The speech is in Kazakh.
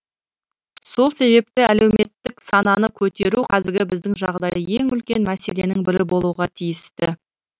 сол себепті әлеуметтік сананы көтеру қазіргі біздің жағдайда ең үлкен мәселенің бірі болуға тиісті